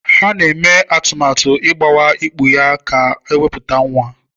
Ha na-eme atụmatụ igbuwa ikpu ya ka o wepụta nwa.